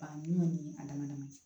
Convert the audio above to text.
Baɲuman ni a dama dama ye